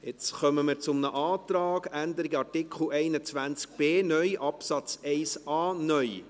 Jetzt kommen wir zu einem Antrag, Änderung Artikel 21b (neu) Absatz 1a (neu).